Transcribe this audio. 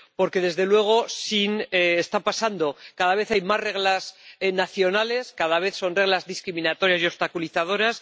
Porque, desde luego, está pasando cada vez hay más reglas nacionales, cada vez son reglas más discriminatorias y obstaculizadoras.